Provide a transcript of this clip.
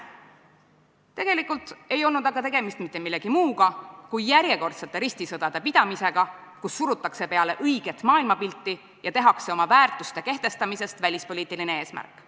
Tegelikult ei olnud aga tegemist mitte millegi muu kui järjekordsete ristisõdade pidamisega, mille käigus surutakse peale õiget maailmapilti ja oma väärtuste kehtestamisest tehakse välispoliitiline eesmärk.